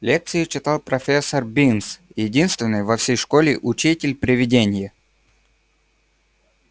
лекции читал профессор бинс единственный во всей школе учитель-привидение